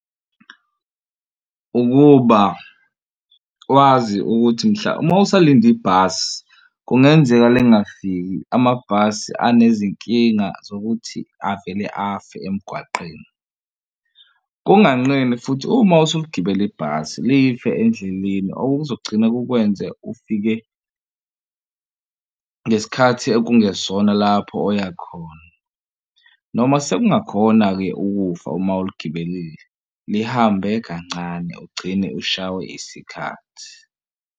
Ukuba wazi ukuthi mhla uma usalinde ibhasi kungenzeka lingingafiki. Amabhasi anezinkinga zokuthi avele afe emgwaqeni. Kunganqeni futhi uma usugibela ibhasi life endleleni okuzogcina kukwenze ufike ngesikhathi okungesona lapho oya khona noma sekungakhona-ke ukufa uma uligibelile lihambe kancane ugcine ushawe isikhathi.